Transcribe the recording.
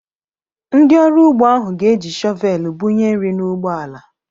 Ndị ọrụ ugbo ahụ ga-eji shọvelụ bu nye nri na ugbo ala.